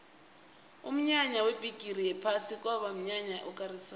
umnyanya webhigiri yephasi kwaba mnyanya okarisako